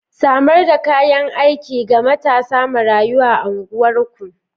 Samar da kayan aiki ga matasa marayu a unguwarku.